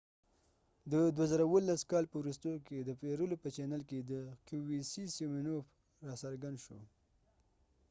د 2017 کال په وروستیو کې سیمینوف د qvc د پیرلو په چینل کې را څرګند شو